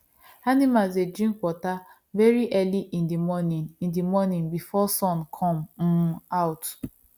animals dey drink water very early in the morning in the morning before sun come um out